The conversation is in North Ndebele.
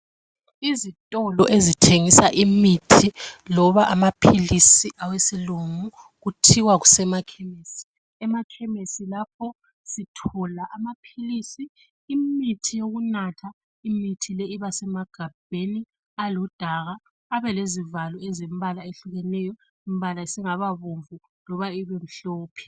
izitolo ezithengisa imithi loba amaphilisi awesilungu kuthiwa kusema khemesi emakhemesi lapha sithola amaphilisi imithi yokunatha imithi iba semagabheni aludaka abe lezivalo ezilombala ehlukeneyo isvalo esingababomvu loba sibemhlophe.